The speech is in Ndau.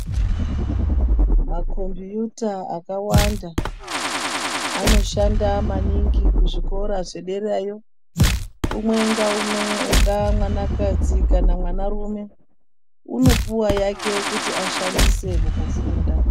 Makombiyuta akawanda anoshanda maningi kuzvikora zvederayo. Umwe ngeumwe ungaa mwanakadzi kana mwanarume unopuwa yake kuti ashandise mukufunda.